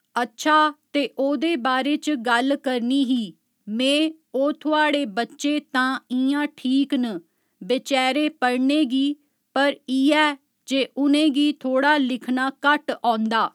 अच्छा ते ओह्दे बारे च गल्ल करनी ही में ओह् थुहाढ़े बच्चे तां इ'यां ठीक न बेचैरे पढ़ने गी पर इ'ऐ जे उ'नेंगी थोह्ड़ा लिखना घट्ट औंदा